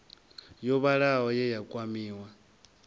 yo vhalaho ye ya kwamiwa